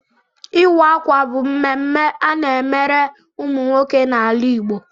Ịwa ákwà bụ ememme ana-emere ụmụ nwoke n'ala Igbo.